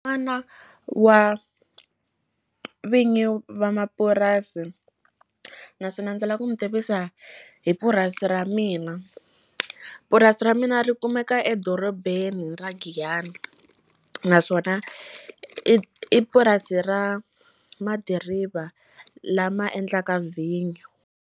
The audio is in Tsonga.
wa vinyi va mapurasi naswona ndzi la ku mi tivisa hi purasi ra mina purasi ra mina mina ri kumeka edorobeni ra Giyani naswona i purasi ra ma diriva lama endlaka vhinyo.